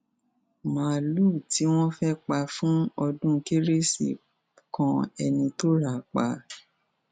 máàlùú tí wọn fẹẹ pa fún ọdún kérésì kan ẹni tó rà á pa